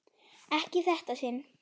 Ekki í þetta sinn.